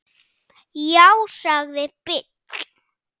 Já, sagði Bill.